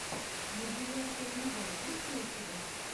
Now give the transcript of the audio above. мадияр пернебай есть ли у тебя